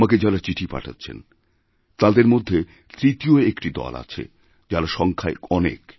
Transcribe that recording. আমাকে যাঁরা চিঠি পাঠাচ্ছেন তাঁদের মধ্যে তৃতীয় একটি দল আছে যাঁরা সংখ্যায়অনেক